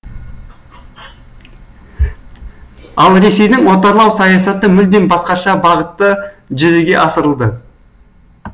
ал ресейдің отарлау саясаты мүлдем басқаша бағытта жүзеге асырылды